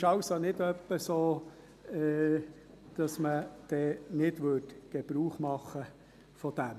Es ist also nicht etwa so, dass man dann davon nicht Gebrauch machen würde.